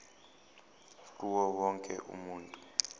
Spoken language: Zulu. kuwo wonke umuntu